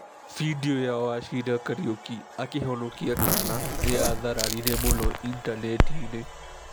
Bindiũ ya Wachira Kariuki akĩhonokia kaana nĩ yathararire mũno initaneti-inĩ.